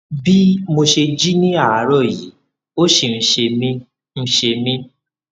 bih mo ṣe jí ní àárọ yìí ó ṣì ń ṣe mí ń ṣe mí